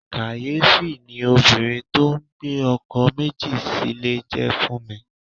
Kàyéfì ni obìnrin tó ń gbé ọkọ̀ méjì sílè jẹ́ fún mi.